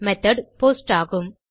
method post ஆகும்